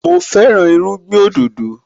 Mo fẹ́ràn irúgbìn òdòdó